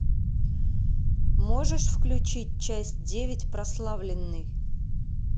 можешь включить часть девять прославленный